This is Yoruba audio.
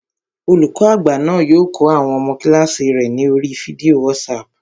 Olùkọ́ àgbà náà yóò kọ́ àwọn ọmọ kílààsì rẹ̀ ní oríi fídíò wátísapù